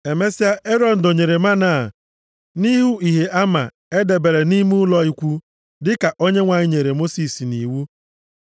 Emesịa, Erọn dọnyere mánà a nʼihu Ihe Ama e debere nʼime ụlọ ikwu, dịka Onyenwe anyị nyere Mosis nʼiwu.